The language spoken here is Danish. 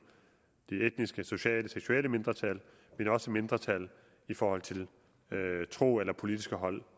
de etniske sociale og seksuelle mindretal men også mindretal i forhold til tro eller politiske holdninger